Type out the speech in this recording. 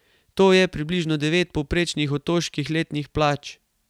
To je približno devet povprečnih otoških letnih plač.